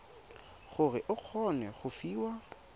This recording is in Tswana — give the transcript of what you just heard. gore o kgone go fiwa